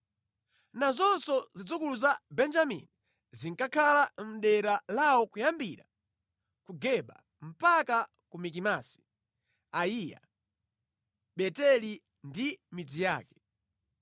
Nazonso zidzukulu za Benjamini zinkakhala mʼdera lawo kuyambira ku Geba mpaka ku Mikimasi, Ayiya, Beteli ndi midzi yake,